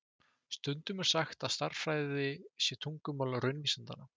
Stundum er sagt að stærðfræði sé tungumál raunvísindanna.